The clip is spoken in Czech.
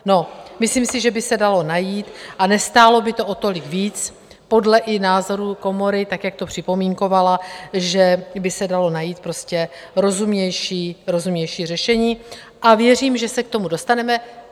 No, myslím si, že by se dalo najít a nestálo by to o tolik víc, podle i názoru komory, tak jak to připomínkovala, že by se dalo najít prostě rozumnější řešení, a věřím, že se k tomu dostaneme.